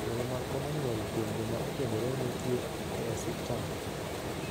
Yore mag komo nyuol kuom joma okendore nitie e osiptal.